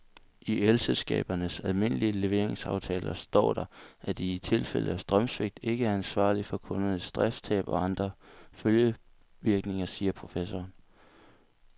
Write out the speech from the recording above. I elselskabernes almindelige leveringsaftaler står der, at de i tilfælde af strømsvigt ikke er ansvarlig for kundernes driftstab og andre følgevirkninger, siger professoren.